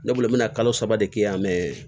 Ne bolo n mɛ na kalo saba de kɛ yan mɛ